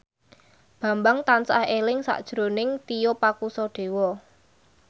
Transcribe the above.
Bambang tansah eling sakjroning Tio Pakusadewo